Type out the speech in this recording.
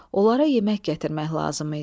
Onlara yemək gətirmək lazım idi.